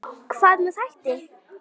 Hvað með þætti?